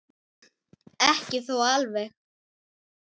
Ekki þó alveg.